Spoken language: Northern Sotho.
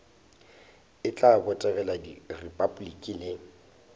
e tla botegela repabliki le